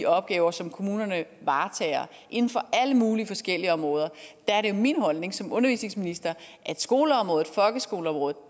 opgaver som kommunerne varetager inden for alle mulige forskellige områder er det min holdning som undervisningsminister at skoleområdet folkeskoleområdet